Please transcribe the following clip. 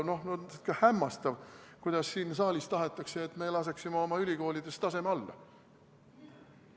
Hämmastav, kuidas siin saalis tahetakse, et me laseksime oma ülikoolides taseme alla.